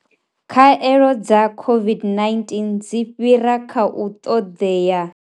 Khaelo dza COVID-19 dzi fhira kha u ṱoḓea.